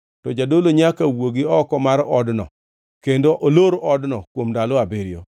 to jadolo nyaka wuogi oko mar odno kendo olor odno kuom ndalo abiriyo.